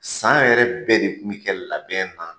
San yɛrɛ bɛɛ de kun kɛ labɛn na